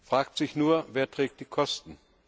Fragt sich nur, wer trägt die Kosten?